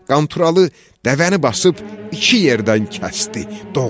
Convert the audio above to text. Qanturalı dəvəni basıb iki yerdən kəsdi, doğradı.